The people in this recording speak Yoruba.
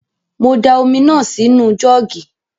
Mo da omi náà sí nu jọ́ọ̀gì